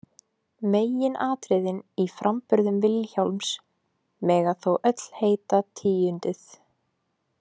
Meginatriðin í framburðum Vilhjálms mega þó öll heita tíunduð.